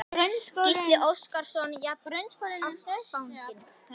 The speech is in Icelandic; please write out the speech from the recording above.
Gísli Óskarsson: Jafnástfanginn?